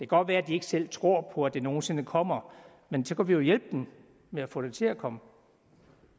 godt være at de ikke selv tror på at det nogen sinde kommer men så kunne vi jo hjælpe dem med at få det til at komme